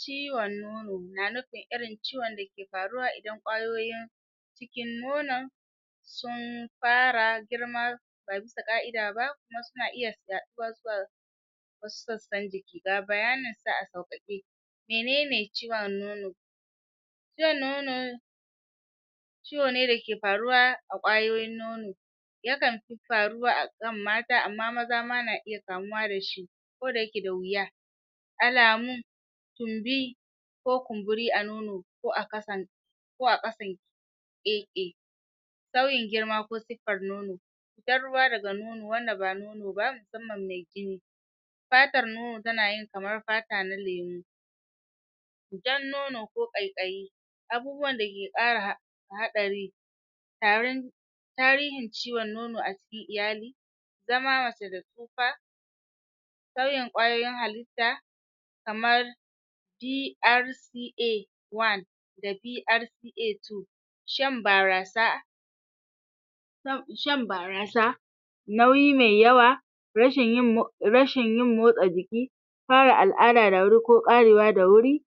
ciwon nono na nufin irin ciwon da ke faruwa idan ƙwayoyin cikin nonon sun fara girma ba bisa ƙa'ida ba kuma suna iya zuwa wasu sassan jiki ga bayanin sa a sauƙaƙe menene ciwon nono ciwon nono ciwo ne da ke faruwa a ƙwayoyin nono yakan faruwa akan mata amma maza ma na iya kamuwa da shi ko da yake da wuya alamu tumbi ko kumburi a nono ko a kasan ko a ƙasan sauyin girma ko siffar nono fitar ruwa daga nono wanda ba nono ba musamman me jini fatar nono tana yi kamar fata na lemu fitar nono ko ƙaiƙayi abubuwan da ke ƙara um haɗari tarin tarihin ciwon nono a cikin iyali zama mace da tsufa sauyin ƙwayoyin halitta kamar PRCA one da PRCA two shan barasa shan barasa nauyi me yawa rashin yin rashin yin motsa jiki fara al'ada da wuri ko ƙarewa da wuri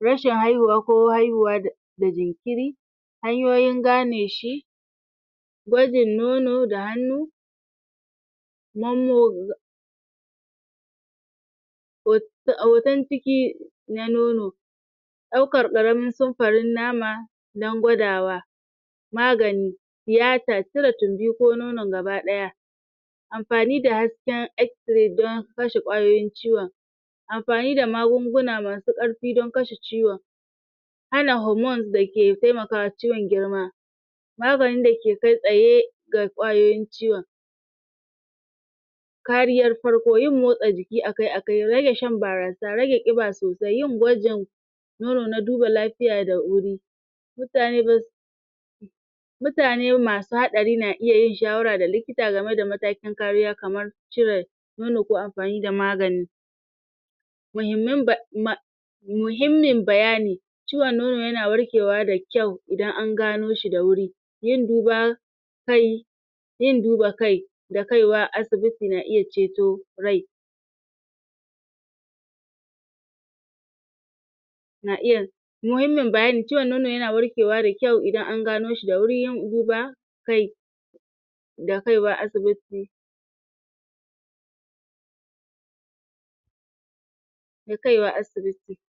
rashin haihuwa ko haihuwa da da jinkiri hanyoyin gane shi gwajin nono da hannu um hoton ciki na nono ɗaukar ƙaramin samfarin nama dan gwadawa magani tiyata, cire tumbi ko nonon gaba ɗaya amfani da hasken X-ray don kashe ƙwayoyin ciwon amfani da magunguna masu ƙarfi don kashe ciwon hana hormones da ke temaka wa ciwon girma maganin da ke kai tsaye ga ƙwayoyin ciwon kariyar farko yin motsa jiki akai -akai, rage shan barasa, rage ƙiba sosai, yin gwajin nono na duba lafiya da wuri mutane mutane masu haɗari na iya yin shawara da likita game da matakin kariya kamar cire nono ko amfani da magani mahimman um muhimmin bayani ciwon nono yana warkewa da kyau idan an gano shi da wuri yin duba yin duba kai da kaiwa asibiti na iya ceto rai na iya muhimmin bayani ciwon nono yana warkewa da kyau idan an gano shi da wuri yin duba kai da kaiwa asibiti da kaiwa asibiti